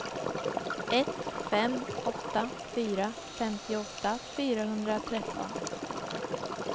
ett fem åtta fyra femtioåtta fyrahundratretton